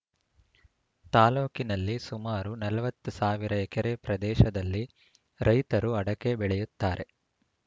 ತಾಲೂಕಿನಲ್ಲಿ ಸುಮಾರು ನಲವತ್ತು ಸಾವಿರ ಎಕರೆ ಪ್ರದೇಶದಲ್ಲಿ ರೈತರು ಅಡಕೆ ಬೆಳೆಯುತ್ತಾರೆ